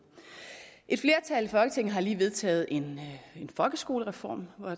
et flertal i folketinget har lige vedtaget en folkeskolereform